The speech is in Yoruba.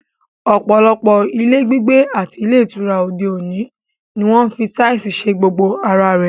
Ọ̀pọ̀lọpọ̀ ilé gbígbé àti ilé ìtura òde òní ni wọ́n ń fi táìsì ṣe gbogbo ara rẹ̀